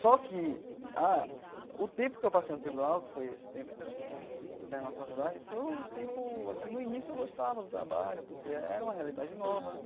Só que ah o tempo que eu passei no tribunal, que foi esse tempo, até terminar a faculdade, foi um tempo, assim, no início eu gostava do trabalho, porque era uma realidade nova, né?